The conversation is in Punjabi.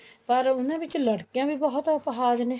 ਪਰ ਉਹਨਾ ਵਿੱਚ ਲੜਕੀਆਂ ਵੀ ਬਹੁਤ ਅਪਾਹਿਜ ਨੇ